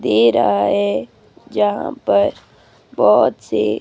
दे रहा है जहां पर बहोत से--